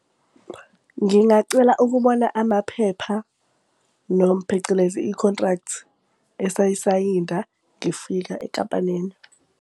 Ngingacela ukubona amaphepha, noma phecelezi i-contract esayisayinda ngifika enkampanini.